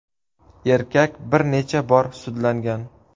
Erkak bir necha bor sudlangan.